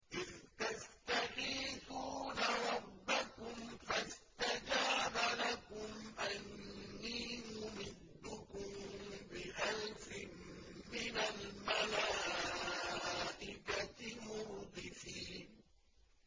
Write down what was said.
إِذْ تَسْتَغِيثُونَ رَبَّكُمْ فَاسْتَجَابَ لَكُمْ أَنِّي مُمِدُّكُم بِأَلْفٍ مِّنَ الْمَلَائِكَةِ مُرْدِفِينَ